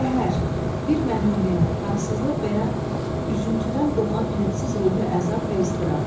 Qəhər, bir məhrumiyyət, haqsızlıq və ya üzüntüdən doğan hədsiz ruhi əzab və istirab.